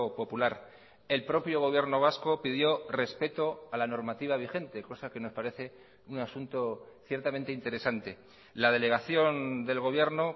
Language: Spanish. popular el propio gobierno vasco pidió respeto a la normativa vigente cosa que nos parece un asunto ciertamente interesante la delegación del gobierno